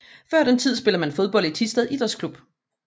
Før den tid spillede man fodbold i Thisted Idræts Klub